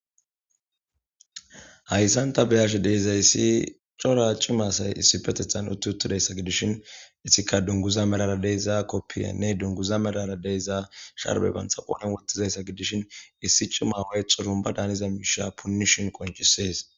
Hayssan ta be7ashe de7izayssi cora cima asay issipetethan utti uttidayssa gidishin isttika dunguza merara de7iza koppiyanne dunguza melara de7iza sharbe bantha qoodhene wottizayssa gidishin issi cima woy xorunba daaniza miisha punishin qonccisees.